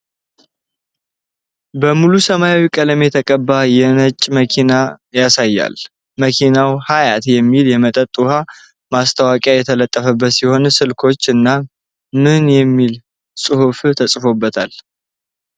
በሙሉ ሰማያዊ ቀለም የተቀባ የጭነት መኪና ያሳያል። መኪናው "ሀያት" የሚል የመጠጥ ውሃ ማስታወቂያ የተለጠፈበት ሲሆን፣ ስልኮች እና ምን የሚል ጽሁፍ ተጽፎበታል?